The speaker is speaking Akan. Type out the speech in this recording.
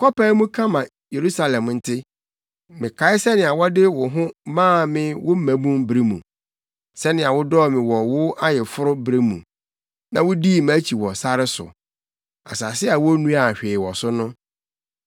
“Kɔpae mu ka ma Yerusalem nte: “ ‘Mekae sɛnea wode wo ho maa me wo mmabun bere mu, sɛnea wodɔɔ me wɔ wʼayeforo bere mu na wudii mʼakyi wɔ sare so, asase a wonnuaa hwee wɔ so no.